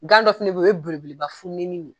Ŋan dɔ fana be ye o ye belebeleba fununenin ne ye